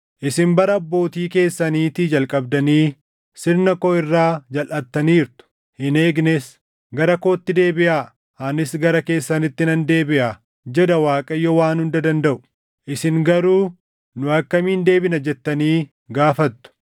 Isin bara abbootii keessaniitii jalqabdanii sirna koo irraa jalʼattaniirtu; hin eegnes. Gara kootti deebiʼaa; anis gara keessanitti nan deebiʼaa” jedha Waaqayyo Waan Hunda Dandaʼu. “Isin garuu, ‘Nu akkamiin deebina?’ jettanii gaafattu.